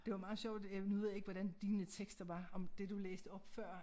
Det var meget sjovt nu ved jeg ikke hvordan dine tekster var om det du læste op før